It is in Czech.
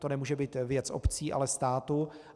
To nemůže být věc obcí, ale státu.